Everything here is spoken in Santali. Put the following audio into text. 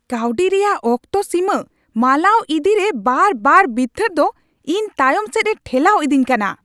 ᱠᱟᱹᱶᱰᱤ ᱨᱮᱭᱟᱜ ᱚᱠᱛᱚ ᱥᱤᱢᱟᱹ ᱢᱟᱞᱟᱣ ᱤᱫᱤᱨᱮ ᱵᱟᱨ ᱵᱟᱨ ᱵᱤᱨᱛᱷᱟᱹᱜ ᱫᱚ ᱤᱧ ᱛᱟᱭᱚᱢ ᱥᱮᱫ ᱮ ᱴᱷᱮᱞᱟᱣ ᱤᱫᱤᱧ ᱠᱟᱱᱟ ᱾